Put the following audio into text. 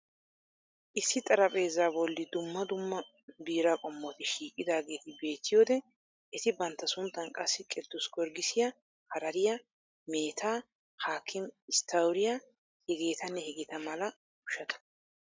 Issi xarapheezza bolli duumma dumma biiraa qomotti shiiqidaageeti beettiyode eti bantta sunttaan qassi kidus giorggisiya, harariya, meetaa, hakim stouriya, hegeetanne heegeeta mala ushshata.